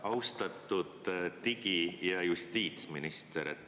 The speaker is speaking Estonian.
Austatud digi‑ ja justiitsminister!